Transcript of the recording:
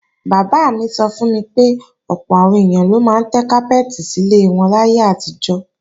Bàbá mi sọ fún mi pé ọ̀pọ̀ àwọn èèyàn ló máa ń tẹ́ kápẹ́ẹ̀tì sí ilẹ̀ wọn láyé àtijọ́